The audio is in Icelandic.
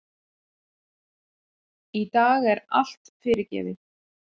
Í dag er allt fyrirgefið.